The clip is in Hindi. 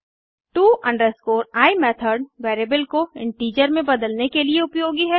to i मेथड वेरिएबल को इंटीजर में बदलने के लिए उपयोगी है